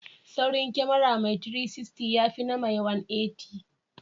Saurin kyamara mai 360, ya fina na mai 180.